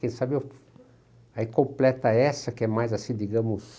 Quem sabe aí completa essa, que é mais assim, digamos...